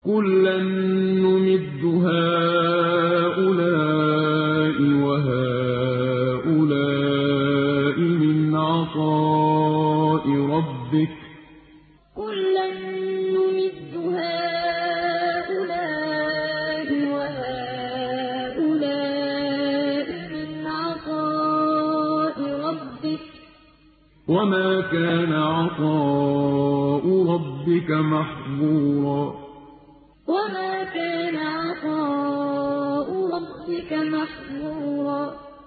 كُلًّا نُّمِدُّ هَٰؤُلَاءِ وَهَٰؤُلَاءِ مِنْ عَطَاءِ رَبِّكَ ۚ وَمَا كَانَ عَطَاءُ رَبِّكَ مَحْظُورًا كُلًّا نُّمِدُّ هَٰؤُلَاءِ وَهَٰؤُلَاءِ مِنْ عَطَاءِ رَبِّكَ ۚ وَمَا كَانَ عَطَاءُ رَبِّكَ مَحْظُورًا